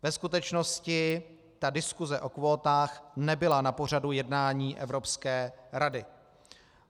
Ve skutečnosti ta diskuse o kvótách nebyla na pořadu jednání Evropské rady.